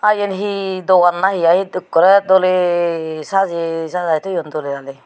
eyan he dogan nahe aha eyot ekkorey doley sajay sajai toyoun doley daley.